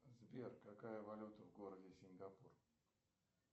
сбер какая валюта в городе сингапур